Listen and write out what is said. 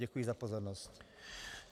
Děkuji za pozornost.